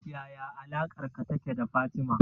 Yaya alaƙarka take da Fatima